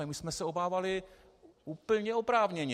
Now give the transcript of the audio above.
Ale my jsme se obávali úplně oprávněně.